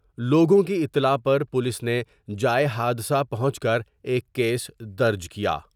لوگوں کی اطلاع پر پولیس نے جائے حادثہ پہنچ کر ایک کیس درج کیا ۔